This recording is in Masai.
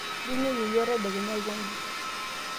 jio inyoyie iyiook tadekenya aikonji